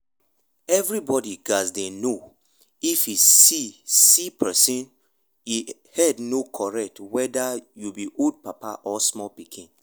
everybody gats dey know if e see see person wey e head no correct weda you be old papa or small pikin